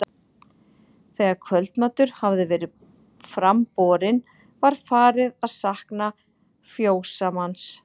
Þegar kvöldmatur hafði verið fram borinn var farið að sakna fjósamanns.